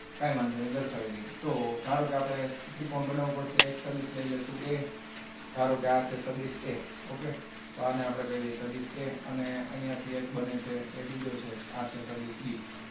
કાંઈ વાંધો નહીં દર્શાવી દઈએ તો ધારો કે આપણે ત્રિકોણ બનાવાવું પડશે એક સદિશ લઈ લેશું a કે ધારો કે સદિશ a okay તો આને આપણે કહી દઈએ સદિશ a અને અહીંયા થી એક બને છે એ બીજો છે આ છે સદિશ b